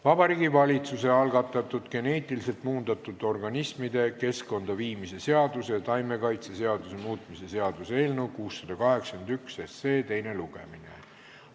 Vabariigi Valitsuse algatatud geneetiliselt muundatud organismide keskkonda viimise seaduse ja taimekaitseseaduse muutmise seaduse eelnõu teine lugemine.